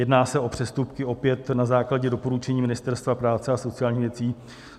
Jedná se o přestupky opět na základě doporučení Ministerstva práce a sociálních věcí.